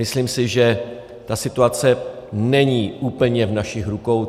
Myslím si, že ta situace není úplně v našich rukou.